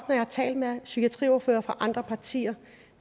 jeg har talt med psykiatriordførere fra andre partier